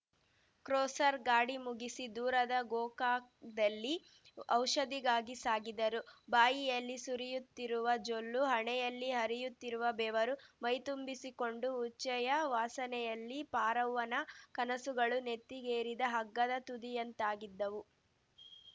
cruiser ಗಾಡಿ ಮುಗಿಸಿ ದೂರದ ಗೋಕಾಕ್ ದಲ್ಲಿ ಔಷಧಿಗಾಗಿ ಸಾಗಿದರುಬಾಯಿಯಲ್ಲಿ ಸುರಿಯುತ್ತಿರುವ ಜೊಲ್ಲು ಹಣೆಯಲ್ಲಿ ಹರಿಯುತ್ತಿರುವ ಬೆವರು ಮೈತುಂಬಿಸಿಕೊಂಡು ಉಚ್ಛೆಯ ವಾಸನೆಯಲ್ಲಿ ಪಾರವ್ವ ನ ಕನಸುಗಳು ನೆತ್ತಿಗೇರಿದ ಹಗ್ಗದ ತುದಿಯಂತಾಗಿದ್ದವು